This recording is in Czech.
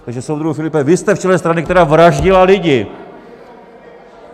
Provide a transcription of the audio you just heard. Takže soudruhu Filipe, vy jste v čele strany, která vraždila lidi!